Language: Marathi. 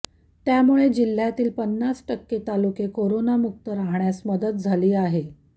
त्यामुळे जिल्ह्यातील पन्नास टक्के तालुके करोना मुक्त राहण्यास मदत झाली आहे